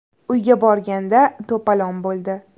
Uyga borganda to‘polon bo‘ldi.